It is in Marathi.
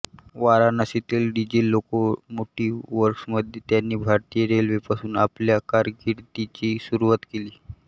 वाराणसीतील डिझेल लोकोमोटिव्ह वर्क्समध्ये त्यांनी भारतीय रेल्वेपासून आपल्या कारकिर्दीची सुरुवात केली